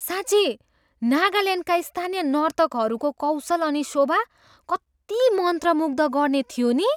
साँच्ची नागाल्यान्डका स्थानीय नर्तकहरूको कौशल अनि शोभा कति मन्त्रमुग्ध गर्ने थियो नि?